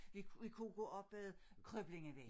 Vi vi kunne gå op ad Krøblingevejen